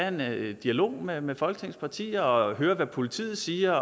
en dialog med med folketingets partier og høre hvad politiet siger